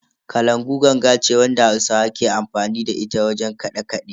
Kalangu ganga ce wadda hausawa ke amfani da ita wajen kiɗe-kiɗe.